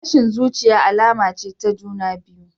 Tashin zuciya alama ce ta juna biyu.